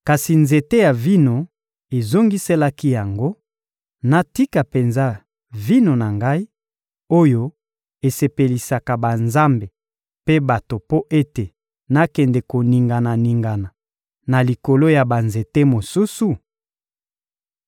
Kasi nzete ya vino ezongiselaki yango: ‹Natika penza vino na ngai, oyo esepelisaka banzambe mpe bato mpo ete nakende koningana-ningana na likolo ya banzete mosusu?›